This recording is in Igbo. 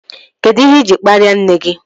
Kedụ ihe iji kparia nne gị?